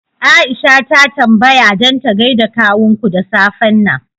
Aisha ta tambaya dan ta gaida kawunku da safen nan